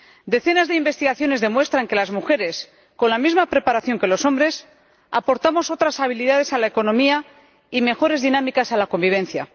Decenas de investigaciones demuestran que las mujeres, con la misma preparación que los hombres, aportamos otras habilidades a la economía y mejores dinámicas a la convivencia.